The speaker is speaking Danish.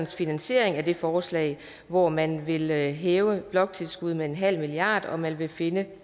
finansiering af det forslag hvor man vil hæve bloktilskuddet med en halv milliard og man vil finde